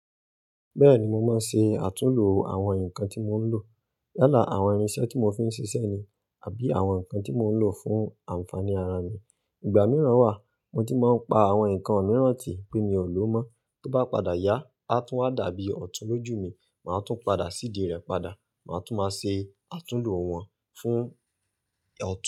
Bẹ́ẹ̀ni mo máa ń ṣe àtúlo àwọn nǹkan tí mo ń lò. Yala áwọn irinṣẹ́ tí mo fi ń ṣiṣẹ́ ni àbí àwọn ǹkan tí mo ń lò fún ànfàní ara mi. Ìgbà mìíràn wà mo ti máa ń pa àwọn ǹkan mìíràn tì pé mi ò lò mọ́, tó bá padà yá, a tún wá dàbí ọ̀tún lójú mi, màá tún padà ṣídi rẹ̀ padà, màá tún máa ṣe àtúlo wọn fún ọ̀tún.